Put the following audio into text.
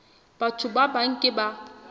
batho ba bang ke ba